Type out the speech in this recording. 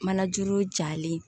Manajuru jalen